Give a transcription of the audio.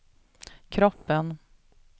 kroppen